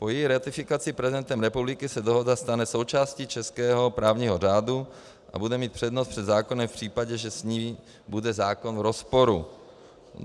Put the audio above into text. Po její ratifikaci prezidentem republiky se dohoda stane součástí českého právního řádu a bude mít přednost před zákonem v případě, že s ní bude zákon v rozporu.